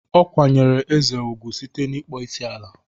Ọ kwanyeere Eze ugwu site n'ịkpọ isi ala.